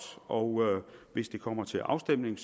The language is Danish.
og hvis det kommer til afstemning